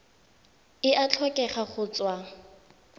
e a tlhokega go tswa